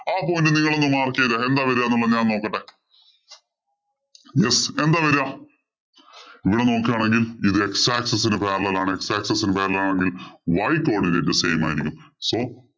ആ point നിങ്ങള് ഒന്ന് mark ചെയ്തേ. എന്താ വരിക എന്ന് ഞാനൊന്നു നോക്കട്ടെ. Yes, എന്താ വരിക? ഇവിടെ നോക്കുകയാണെങ്കില്‍ ഇത് x axis ഇന് parallel ആണ്. x axis ഇന് parallel ആണെങ്കില്‍ y codinate same ആയിരിക്കും. So